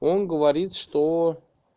он говорит что